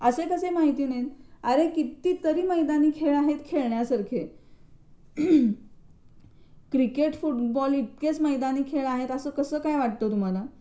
असं कसं माहित नाही अरे किती तरी खेळ आहेत मैदानी खेळण्यासारखे. क्रिकेट, फुटबॉल इतके मैदानी खेळ आहेत असं कसं काय वाटतं तुम्हाला?